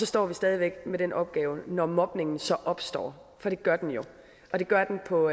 står stadig væk med den opgave når mobningen så opstår for det gør den jo og det gør den på